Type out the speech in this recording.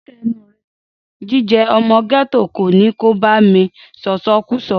Dákẹ́ ẹnuù rẹ! Jíjẹ ọmọ gẹ́tò kò ní kò bá mí sọ̀sọkúsọ.